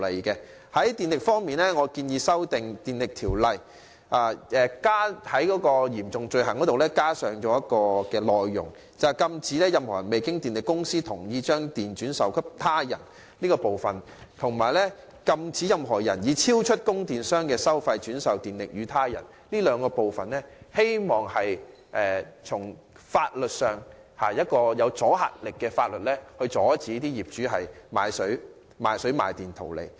就電力方面，我建議修訂《電力條例》中有關嚴重罪行的條文，加入"禁止任何人未經電力公司同意將供電轉售他人"及"禁止任何人以超出供電商的收費轉售電力予他人"的內容，希望透過具阻嚇力的法例阻止業主賣水賣電圖利。